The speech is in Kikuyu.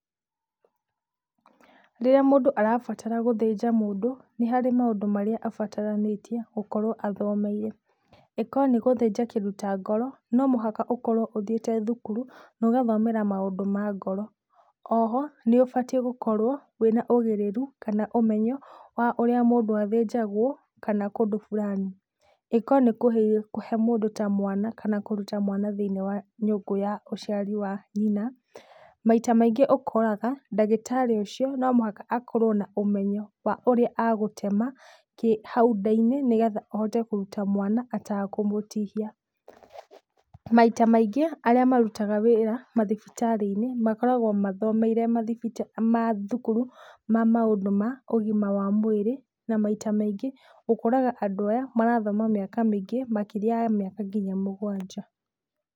Rĩrĩa mũndũ arabatara gũthĩnja mũndũ, nĩ harĩ maũndũ abataranĩtie gũkorwo athomeire. Ĩkorwo nĩ gũthĩnja kĩndũ ta ngoro, no mũhaka ũkorwo ũthiĩte thukuru na ũgathomera maũndũ ma ngoro. Oho, nĩũbatiĩ gũkorwo wĩna ũgĩrĩru kana ũmenyo wa ũrĩa mũndũ athĩnjagwo kana kũndũ fulani. Ĩkorwo nĩ kũhe mũndũ ta mwana kana kũruta mwana thĩiniĩ wa nyũngũ ya ũciari wa nyina, maita maingĩ ũkoraga ndagĩtarĩ ũcio no mũhaka akorwo na ũmenyo wa ũrĩa agũtema kĩ hau nda-inĩ nĩgetha ahote kũruta mwana atakũmũtihia. Maita maingĩ arĩa marutaga wĩra mathibitarĩ-inĩ, makoragwo mathomeire mathibita mathukuru ma maũndũ ma ũgima wa mwĩrĩ na maita maingĩ ũkoraga andũ aya marathoma mĩaka mĩingĩ makĩria ya mĩaka kinya mũgwanja.